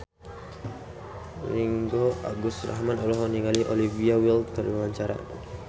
Ringgo Agus Rahman olohok ningali Olivia Wilde keur diwawancara